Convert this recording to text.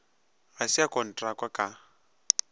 ga se a kontrakwa ka